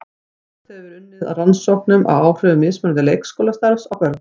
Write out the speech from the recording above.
Töluvert hefur verið unnið að rannsóknum á áhrifum mismunandi leikskólastarfs á börn.